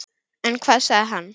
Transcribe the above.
En hvað sagði hann?